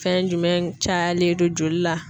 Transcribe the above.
Fɛn jumɛn cayalen don joli la.